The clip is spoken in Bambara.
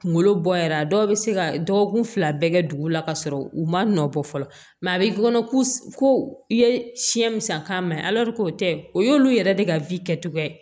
Kunkolo bɔ yɛrɛ a dɔw bɛ se ka dɔgɔkun fila bɛɛ kɛ dugu la ka sɔrɔ u ma nɔ bɔ fɔlɔ a bɛ kɔnɔ ko i ye siɲɛ musa k'a mɛn k'o tɛ o y'olu yɛrɛ de ka kɛcogoya ye